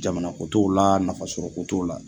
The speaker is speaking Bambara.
Jamana ko t'o la lnafa sɔrɔ ko t'o la.